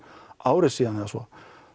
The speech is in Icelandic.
ári síðan eða svo